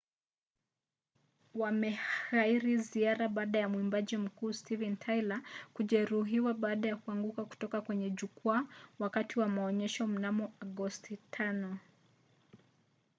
wameghairi ziara baada ya mwimbaji mkuu steven tyler kujeruhiwa baada ya kuanguka kutoka kwenye jukwaa wakati wa maonyesho mnamo agosti 5